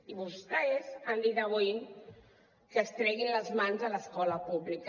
i vostès han dit avui que es treguin les mans a l’escola pública